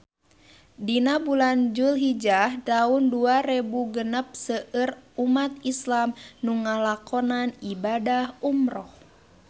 Dina bulan Dulhijah taun dua rebu genep seueur umat islam nu ngalakonan ibadah umrah